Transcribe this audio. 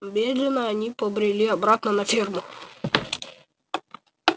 медленно они побрели обратно на ферму